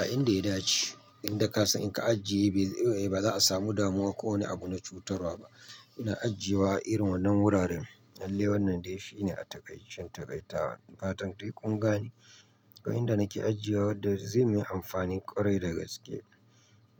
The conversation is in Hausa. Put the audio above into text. A inda ya dace. Inda ka san in ka ajiye ba za a samu damuwa ko wani abu na cutarwa ba. Ina ajiyewa irin wannan wuraren. Lallai wanan dai shi ne a takaice takaitawa. Fatan dai ƙungane, Ga inda nake ajiyewa da zai yi min amfani ƙwarai da gaske.